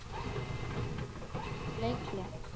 Akureyri tekur leikhlé